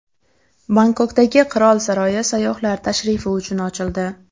Bangkokdagi qirol saroyi sayyohlar tashrifi uchun ochildi.